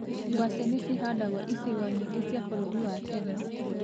Ngwacĩ nĩcihandagwo icigo nyingĩ cia bũrũri wa kenya.